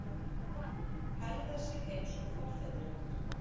Hegða sér eins og forfeðurnir